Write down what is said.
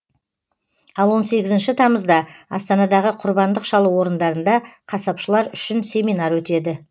ал он сегізінші тамызда астанадағы құрбандық шалу орындарында қасапшылар үшін семинар өтеді